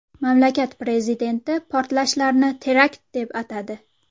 Mamlakat prezidenti portlashlarni terakt deb atadi .